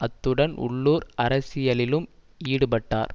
அத்துடன் உள்ளூர் அரசியலிலும் ஈடுபட்டார்